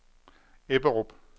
Ebberup